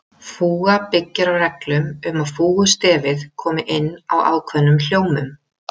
Fúga byggir á reglum um að fúgustefið komi inn á ákveðnum hljómum.